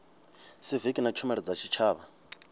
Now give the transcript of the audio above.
siviki na tshumelo dza tshitshavha